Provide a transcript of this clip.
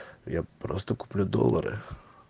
я просто куплю доллары